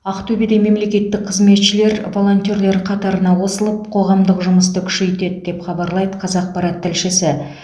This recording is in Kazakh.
ақтөбеде мемлекеттік қызметшілер волонтерлер қатарына қосылып қоғамдық жұмысты күшейтеді деп хабарлайды қазақпарат тілшісі